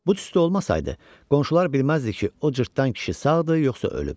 Bu tüstü olmasaydı, qonşular bilməzdi ki, o cırtdan kişi sağdır, yoxsa ölüb.